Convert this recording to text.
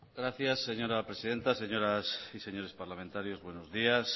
gracias señora presidenta señoras y señores parlamentarios buenos días